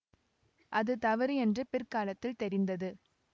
அது தவறு என்று பிற்காலத்தில் தெரிந்தது